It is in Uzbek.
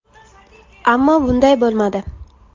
Ammo bunday bo‘lmadi.